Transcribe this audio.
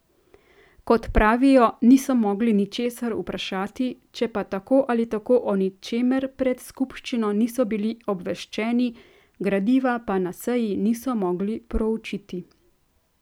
Kot pravijo, niso mogli ničesar vprašati, če pa tako ali tako o ničemer pred skupščino niso bili obveščeni, gradiva pa na seji niso mogli proučiti.